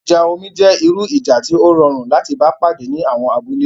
Ìjà omi jẹ́ irú ìjà tí ó rọrùn láti bá pàdé ní àwọn abúlé